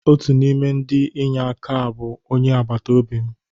Otu n'ime ndị inye aka a bụ onye agbata obi m.